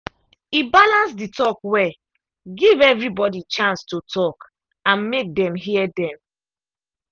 e balance the talk well give everybody chance to talk and make dem hear dem.